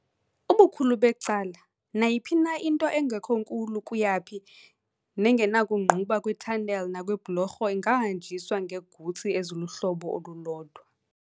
Ubukhulu becala nayiphi na into engekho nkulu kuyaphi nengenakungquba kwi-tunnel nakwiibhlorho ingahanjiswa ngeegutsi eziluhlobo olulodwa.